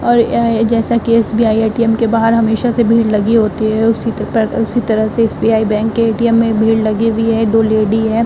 और यह जैसा कि एसबीआई एटीएम के बाहर हमेशा से भीड़ लगी होती है। उसी त पर उसी तरह से एसबीआई बैंक के एटीएम में भीड़ लगी हुई है। दो लेडी हैं।